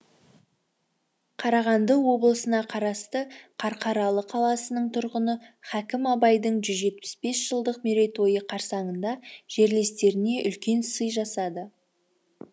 қарағанды облысына қарасты қарқаралы қаласының тұрғыны хакім абайдың жүз жетпіс бес жылдық мерейтойы қарсаңында жерлестеріне үлкен сый жасады